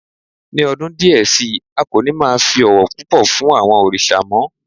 Ní ọdún díẹ̀ sí i, a kò ní máa fi ọ̀wọ̀ púpọ̀ fún àwọn òrìṣà mọ́